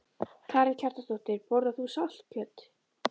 Karen Kjartansdóttir: Borðar þú saltkjöt?